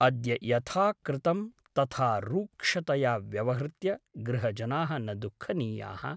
अद्य यथा कृतं तथा रूक्षतया व्यवहृत्य गृहजनाः न दुःखनीयाः ।